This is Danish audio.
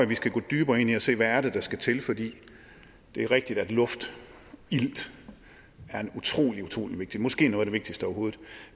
vi skal gå dybere ind i at se det er der skal til fordi det er rigtigt at luft og ilt er utrolig utrolig vigtigt måske noget af det vigtigste overhovedet